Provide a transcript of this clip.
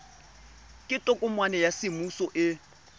ke tokomane ya semmuso e